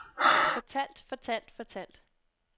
fortalt fortalt fortalt